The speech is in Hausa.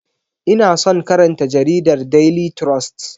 Ina son karanta jaridar Daily trust.